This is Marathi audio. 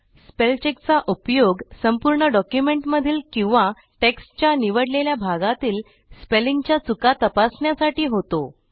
स्पेलचेक चा उपयोग संपूर्ण डॉक्युमेंटमधील किंवा टेक्स्टच्या निवडलेल्या भागातील स्पेलिंगच्या चुका तपासण्यासाठी होतो